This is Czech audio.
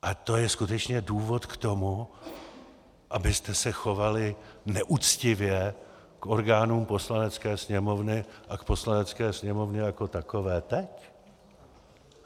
A to je skutečně důvod k tomu, abyste se chovali neuctivě k orgánům Poslanecké sněmovny a k Poslanecké sněmovně jako takové teď?